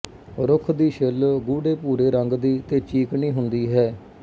ਰੁੱਖ ਦੀ ਛਿੱਲ ਗੂੜ੍ਹੇ ਭੂਰੇ ਰੰਗ ਦੀ ਤੇ ਚੀਕਣੀ ਹੁੰਦੀ ਹੈ